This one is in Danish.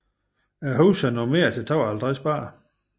Huset er normeret til 52 børn